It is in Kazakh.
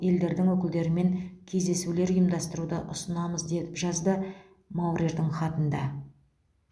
елдердің өкілдерімен кездесулер ұйымдастыруды ұсынамыз деп жазды маурердің хатында